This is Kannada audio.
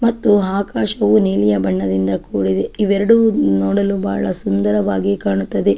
ಮತ್ತು ಆಕಾಶವು ನೀಲಿಯ ಬಣ್ಣದಿಂದ ಕೂಡಿದೆ ಇವೆರಡು ನೋಡಲು ಬಹಳ ಸುಂದರವಾಗಿ ಕಾಣುತ್ತದೆ.